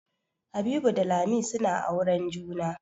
Habibu da Lami suna auren juna.